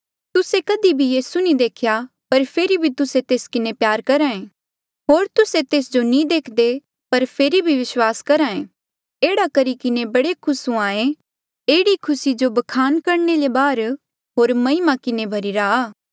तुस्से कधी भी यीसू नी देखेया पर फेरी भी तुस्से तेस किन्हें प्यार करहे होर तुस्से तेस जो नी देखदे पर फेरी भी विस्वास करहे एह्ड़े करी किन्हें बड़े खुस हुंहां ऐें एह्ड़ी खुसी जो ब्खान करणे ले बाहर होर महिमा किन्हें भ्हरीरा आ